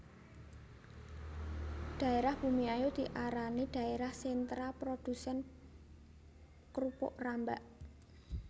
Dhaérah Bumiayu diarani dhaérah sentra produsén krupuk rambak